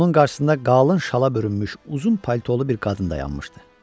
Onun qarşısında qalın şala bürünmüş uzun paltolu bir qadın dayanmışdı.